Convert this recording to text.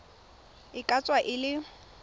e ka tswa e le